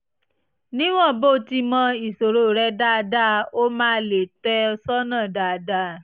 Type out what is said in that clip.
níwọ̀n bó ti mọ ìṣòro rẹ dáadáa ó máa lè tọ́ ẹ sọ́nà dáadáa